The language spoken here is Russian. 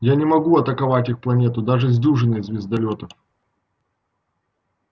я не могу атаковать их планету даже с дюжиной звездолётов